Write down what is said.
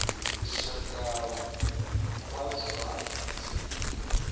lushaka wa zwa dzinnu uri